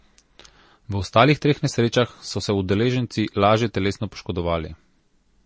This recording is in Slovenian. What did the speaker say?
V ostalih treh nesrečah so se udeleženci lažje telesno poškodovali.